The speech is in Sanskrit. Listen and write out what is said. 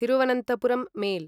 थिरुवनन्थपुरं मेल्